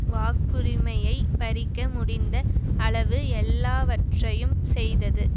வாக்குரிமையை பறிக்க முடிந்த அளவு எல்லாவற்றையும் செய்தது